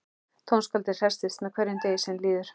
Tónskáldið hressist með hverjum degi sem líður.